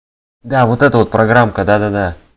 да вот это вот программка да да да